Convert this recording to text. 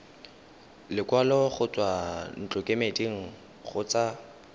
lekwalo go tswa ntlokemeding kgotsa